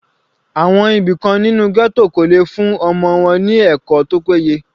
Àwọn òbí kan nínú ghetto kò lè fún ọmọ wọn ní ẹ̀kọ́ tó péye.